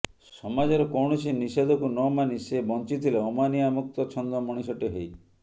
ସମାଜର କୌଣସି ନିଷେଧକୁ ନ ମାନି ସେ ବ୍ଞ୍ଚିଥିଲେ ଅମାନିଆ ମୁକ୍ତ ଛନ୍ଦ ମଣିଷଟେ ହେଇ